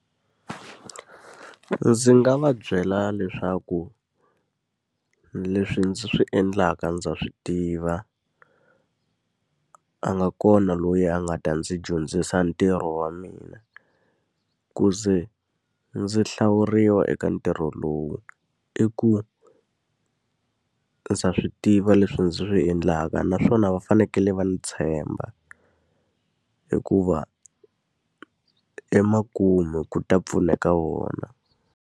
Ndzi nga va byela leswaku leswi ndzi swi endlaka ndza swi tiva, a nga kona loyi a nga ta ndzi dyondzisa ntirho wa mina. Ku ze ndzi a hlawuriwa eka ntirho lowu i ku ndza swi tiva leswi ndzi swi endlaka naswona va fanekele va ndzi tshemba. Hikuva emakumu ku ta pfuneka vona.